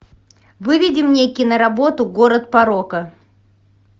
выведи мне киноработу город порока